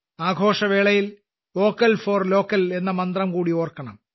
ആഘോഷവേളയിൽ vocal for local എന്ന മന്ത്രംകൂടി ഓർക്കണം